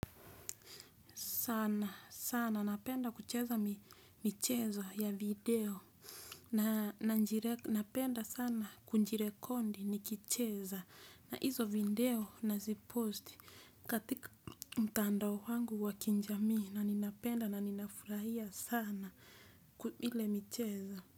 Sana sana napenda kucheza michezo ya video napenda sana kujirekondi nikicheza na hizo video nazipost katika mtandao wangu wa kijamii na ninapenda na ninafurahia sana ile michezo.